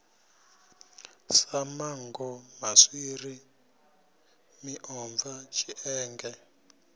sa manngo maswiri miomva tshienge